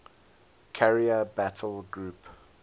carrier battle group